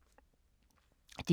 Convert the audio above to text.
DR K